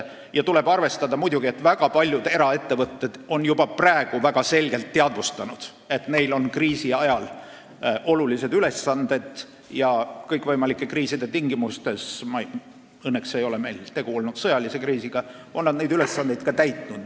Tuleb muidugi arvestada, et väga paljud eraettevõtted on juba praegu väga selgelt teadvustanud, et neil on kriisiajal olulised ülesanded, ja kõikvõimalike kriiside tingimustes – õnneks ei ole meil tegu olnud sõjalise kriisiga – on nad neid ülesandeid ka täitnud.